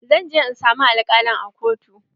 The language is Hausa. Zan je in samu alkalin a kotu.